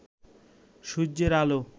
সূর্যের আলো